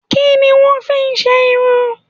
Kí ni wọ́n ń fí ṣe irú?